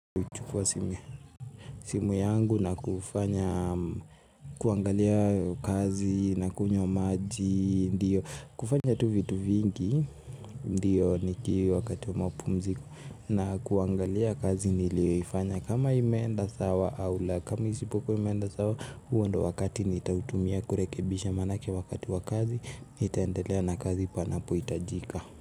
Nachukua simu yangu na kufanya kuangalia kazi na kunywa maji, ndiyo, kufanya tu vitu vingi, ndiyo niki wakati wa mapumziko na kuangalia kazi niliyoifanya kama imeenda sawa au la. Kama isipokuwa imeenda sawa, huo ndio wakati nitautumia kurekebisha maanake wakati wa kazi, nitaendelea na kazi panapohitajika.